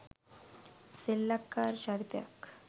සෙල්ලක්කාර චරිතයක්